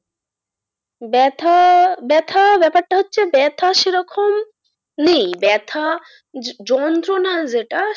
ব্যথা ব্যথা ব্যাপারটা হচ্ছে ব্যথা সেরকম নেই ব্যথা যন্ত্রণা যেটা,